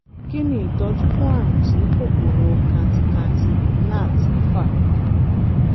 kí ni ìtọ́jú fún àrùn tí kòkòrò kantikanti gnat ń fà?